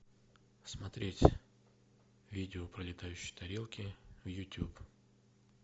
смотреть видео про летающие тарелки в ютуб